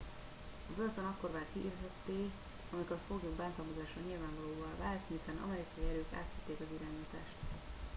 a börtön akkor vált hírhedté amikor a foglyok bántalmazása nyilvánvalóvá vált miután amerikai erők átvették az irányítást